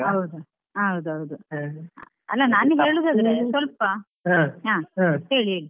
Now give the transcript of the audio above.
ಹೌದು ಹಾ ಹೌದೌದು. ಅಲ್ಲಾ ನಾನ್ ಈಗ ಹೇಳುದು ಅದನ್ನೇ ಸ್ವಲ್ಪ ಹೇಳಿ ಹೇಳಿ.